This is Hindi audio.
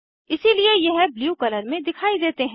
इसीलिए यह ब्लू कलर में दिखाई देते हैं